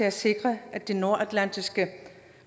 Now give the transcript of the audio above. at sikre at de nordatlantiske